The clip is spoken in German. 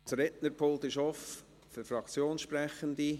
Das Rednerpult ist offen für Fraktionssprechende.